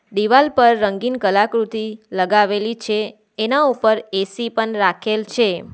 દિવાલ પર રંગીન કલાકૃતિ લગાવેલી છે એના ઉપર એ_સી પણ રાખેલ છે.